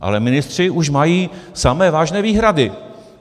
Ale ministři už mají samé vážné výhrady.